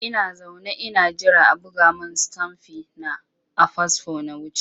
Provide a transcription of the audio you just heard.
Ina zaune ina jira a buga min stamfi na a fasfo na wuce.